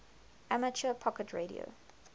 amateur packet radio